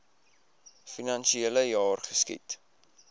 finansiele jaar geskied